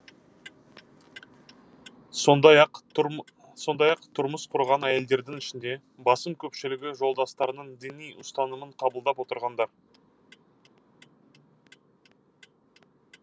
сондай ақ тұрмыс құрған әйелдердің ішінде басым көпшілігі жолдастарының діни ұстанымын қабылдап отырғандар